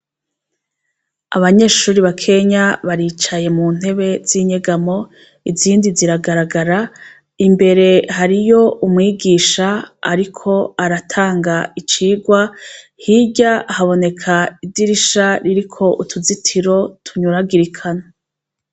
Abanyeshuri ba kenya baricaye mu ntebe z'inyegamo izindi ziragaragara imbere hariyo umwigisha, ariko aratanga icirwa hirya haboneka idirisha ririko utuzitiro tunyuragirikana.